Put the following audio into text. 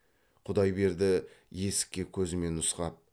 құдайберді есікке көзімен нұсқап